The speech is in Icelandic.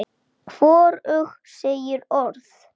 Þetta er lítill bær.